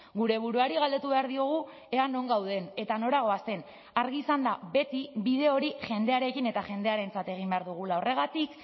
gure buruari galdetu behar diogu ea non gauden eta nora goazen argi izanda beti bide hori jendearekin eta jendearentzat egin behar dugula horregatik